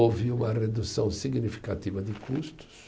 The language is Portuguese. Houve uma redução significativa de custos,